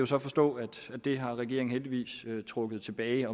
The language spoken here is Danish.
så forstå at det har regeringen heldigvis trukket tilbage